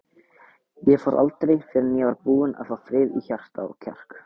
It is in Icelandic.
Ég fór aldrei fyrr en ég var búinn að fá frið í hjarta og kjark.